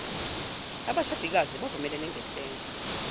abashadikazi bavumelene ngesenzo